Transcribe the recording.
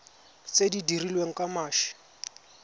tse di dirilweng ka mashi